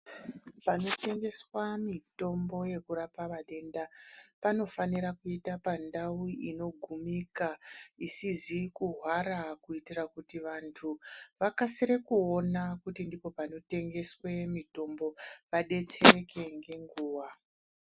Panotengeswa mitombo yekurapa vatenda, panofanira kuita pandau inogumika ,isizi kuhwara kuitira kuti vantu, vakasire kuona kuti ndipo panotengeswe mitombo , vadetsereke ngenguwa.